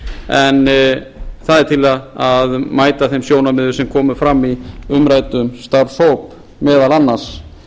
en það er til að mæta þeim sjónarmiðum sem komu fram í umræddum starfshópi meðal annars